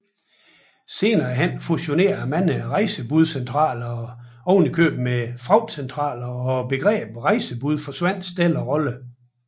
Senere hen fusionerede mange rejsebudscentraler ovenikøbet med fragtcentralerne og begrebet rejsebud forsvandt stille og roligt